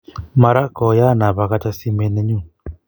mara koyaan apakacha simet neyuni